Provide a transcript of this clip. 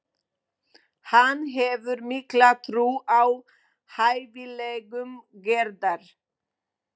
Hann hefur mikla trú á hæfileikum Gerðar.